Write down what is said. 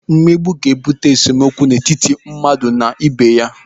Mmegbu ga-ebute esemokwu n'etiti mmadụ n'ibé ya.